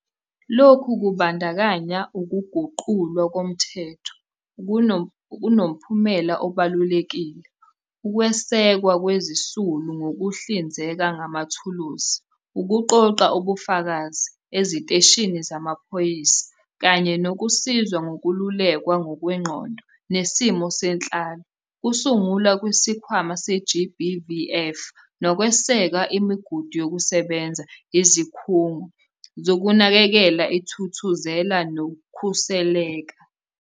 Lokhu kubandakanya ukuguqulwa komthetho okunomphumela obalulekile, ukwesekwa kwezisulu ngokuhlinzeka ngamathuluzi okuqoqa ubufakazi eziteshini zamaphoyisa kanye nokusizwa ngokululekwa ngokwengqondo nesimo senhlalo, ukusungulwa kweSikhwama se-GBVF nokweseka imigudu yokusebenza yeziKhungo Zokunakekela iThuthuzela neKhuseleka.